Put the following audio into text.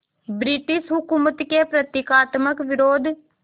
British हुकूमत के प्रतीकात्मक विरोध